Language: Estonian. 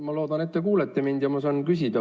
Ma loodan, et te kuulete mind ja ma saan küsida.